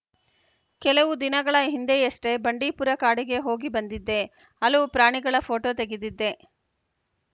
ಕೆಲವು ದಿನಗಳ ಹಿಂದೆಯಷ್ಟೇ ಬಂಡೀಪುರ ಕಾಡಿಗೆ ಹೋಗಿ ಬಂದಿದ್ದೆ ಹಲವು ಪ್ರಾಣಿಗಳ ಫೋಟೋ ತೆಗೆದಿದ್ದೆ